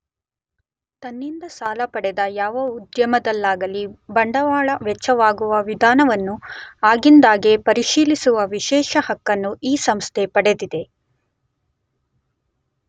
ತನ್ನಿಂದ ಸಾಲ ಪಡೆದ ಯಾವ ಉದ್ಯಮದಲ್ಲಿಯಾಗಲೀ ಬಂಡವಾಳ ವೆಚ್ಚವಾಗುವ ವಿಧಾನವನ್ನು ಆಗಿಂದಾಗ್ಗೆ ಪರಿಶೀಲಿಸುವ ವಿಶೇಷ ಹಕ್ಕನ್ನು ಈ ಸಂಸ್ಥೆ ಪಡೆದಿದೆ.